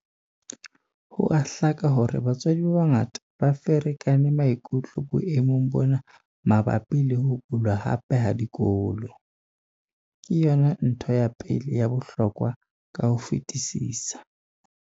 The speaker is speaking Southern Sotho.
Ho a hlaka hore batswadi ba bangata ba ferekane maikutlo boemong bona mabapi le ho bulwa hape ha dikolo. Ke yona ntho ya pele ya bohlokwa ka ho fetisisa.